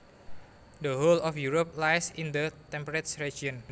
The whole of Europe lies in the temperate region